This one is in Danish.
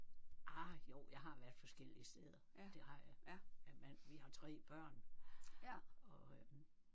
Ah jo jeg har været forskellige steder det har jeg men men vi har tre børn og øh